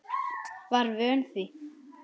Var vön því.